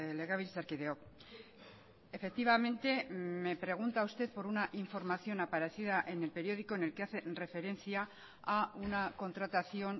legebiltzarkideok efectivamente me pregunta usted por una información aparecida en el periódico en el que hace referencia a una contratación